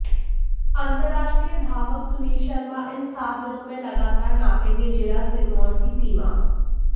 अंतरराष्ट्रीय धावक सुनील शर्मा इन सात दिनों में लगातार नापेंगे जिला सिरमौर की सीमा